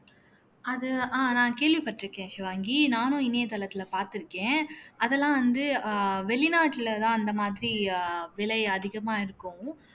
அது அஹ் நான் கேள்விப்பட்டிருக்கேன் ஷிவாங்கி நானும் இணையதளத்தில பார்த்திருக்கேன் அதெல்லாம் வந்து அஹ் வெளிநாட்டுலதான் அந்த மாதிரி அஹ் விலை அதிகமா இருக்கும்